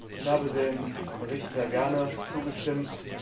Ich habe dem Bericht sehr gerne zugestimmt.